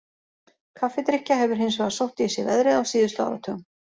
Kaffidrykkja hefur hins vegar sótt í sig veðrið á síðustu áratugum.